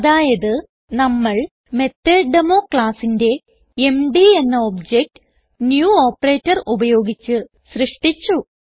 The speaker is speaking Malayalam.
അതായത് നമ്മൾ മെത്തോട്ടേമോ ക്ലാസ്സിന്റെ എംഡി എന്ന ഒബ്ജക്ട് ന്യൂ ഓപ്പറേറ്റർ ഉപയോഗിച്ച് സൃഷ്ടിച്ചു